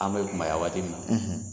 An be kumaya waati min na